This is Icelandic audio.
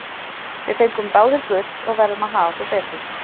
Við fengum báðir gult og verðum að haga okkur betur.